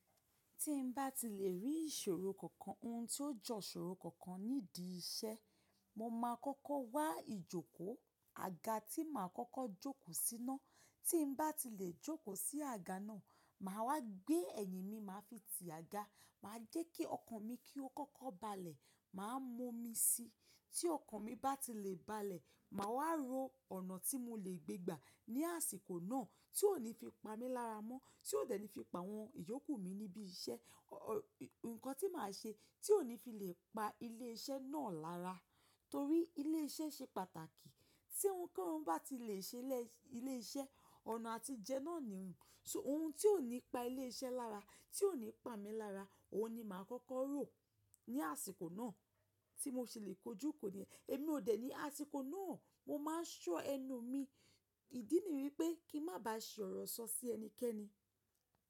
Tí n bá ti lè rí ìṣòro kankan, ohun tí ó jọ ìṣòro kankan nídi iṣẹ́, mo máa kọ́kọ́ wá ìjókòó àga tí màá kọ́kọ́ jókòó síná. Tí n bá ti lè jókòó sí àga náà, màá wá gbé ẹ̀yìn mi, màá fi ti àga, màá jẹ́ kí ọkàn mi kí ó kọ́kọ́ balẹ̀, màá mú mí síi. Tí ọkàn mi bá ti lè balẹ̀, màá wá rò ọ̀nà tí mo lè gbé gbà ní àsìkò náà tí ó ní fi pa mí lára mọ́, tí ó dẹ̀ ní fi pa àwọn ìyókù mi níbi iṣẹ́. Ǹkọ̀ tí màá ṣe, tí ó ní fi lè pa ilé iṣẹ́ náà lára, torí ilé iṣẹ́ ṣe pàtàkì. Tí ohunkóhun bá ti lè ṣe lé ilé iṣẹ́, ọ̀nà àtijẹ náà ni rún. Ohun tí ó ní pa ilé iṣẹ́ lára, tí ó ní pa mí lára, òun ni màá kọ́kọ́ rò ní àsìkò náà tí mo ṣe lè kojú kò ní. Èmi ò dè ní àsìkò náà, mo máa ṣọ́ ẹnu mi. Ìdí ni wípé kí n má ba ṣe ọ̀rọ̀ sọ sí ẹnikẹ́ni.